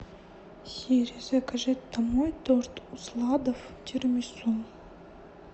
сири закажи домой торт усладов тирамису